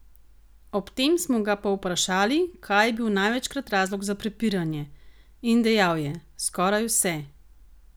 Ob tem smo ga povprašali, kaj je bil največkrat razlog za prepiranje, in dejal je: "Skoraj vse.